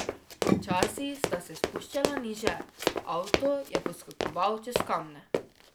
Počasi sta se spuščala niže, avto je poskakoval čez kamne.